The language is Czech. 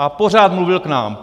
A pořád mluvil k nám.